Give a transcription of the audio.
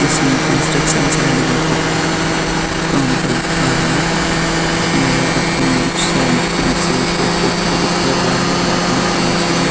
किसी construction site का ऊपर काम करता है। यह अपनी सेल्फी से फोटो क्लिक कर रहे हैं। यह अपने फ़ोन से --